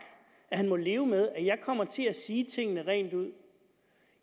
at han må leve med at jeg kommer til at sige tingene rent ud